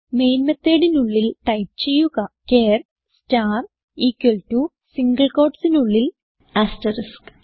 main methodനുള്ളിൽ type ചെയ്യുക char star equal to single quotesനുള്ളിൽ ആസ്ർടെയ്ക്ക്സ്